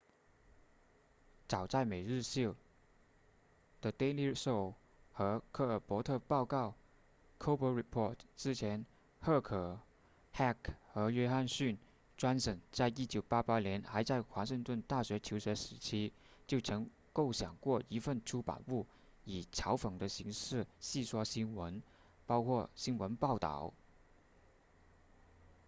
早在每日秀 the daily show 和科尔伯特报告 colbert report 之前赫克 heck 和约翰逊 johnson 在1988年还在华盛顿大学求学时期就曾构想过一份出版物以嘲讽的形式戏说新闻包括新闻报道